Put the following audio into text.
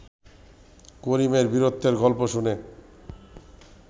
করিমের বীরত্বের গল্প শুনে